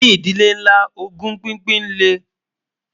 ní ìdílé nlá, ògún pínpín lè